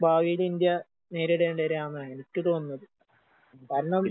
ഭാവീല് India നേരിടേണ്ടി വര്കാന്നാ എനിക്ക് തോന്നുന്നത്. ഭരണം